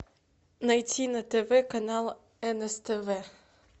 найти на тв канал нств